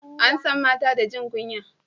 an san mata da jin kunya